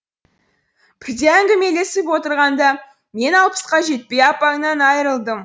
бірде әңгімелесіп отырғанда мен алпысқа жетпей апаңнан айрылдым